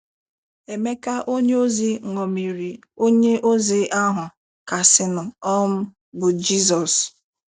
Emeka onyeozi ṅomiri onye ozi ahụ kasịnụ um bụ́ Jizọs.